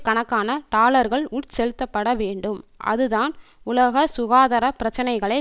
கணக்கான டாலர்கள் உட்செலுத்தப்பட வேண்டும் அதுதான் உலக சுகாதர பிரச்சினைகளை